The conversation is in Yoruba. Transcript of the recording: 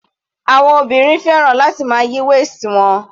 Àwọn obìnrin fẹ́ràn láti máa yí waist wọn.